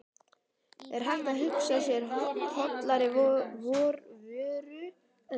Er hægt að hugsa sér hollari vöru en það?